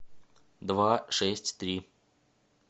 два шесть три